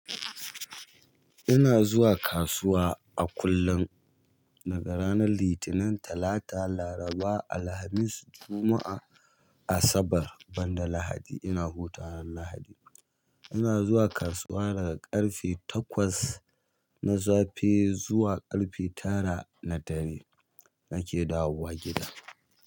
Ina zuwa kasuwa a kullum daga ranar Litinin, talata, laraba, Alhamis, juma'a, asabar banda Lahadi ina hutawa Lahadi. Ina zuwa kasuwa daga ƙarfe takwas na safe zuwa ƙarfe tara na dare nake dawowa gida.